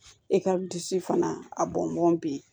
I ka disi fana a bɔnbɔn bi yen